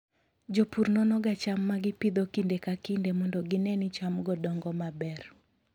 Jopur nonoga cham ma gipidho kinde ka kinde mondo gine ni chamgo dongo maber.